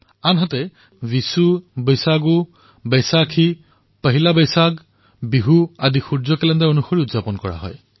আনহাতে তামিল পুন্থাডু বিষু বৈশাখ বৈশাখী পইলা বৈশাখ বিহু এই সকলোবোৰ সূৰ্য কেলেণ্ডাৰৰ আধাৰত পালন কৰা হয়